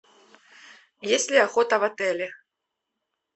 есть ли охота в отеле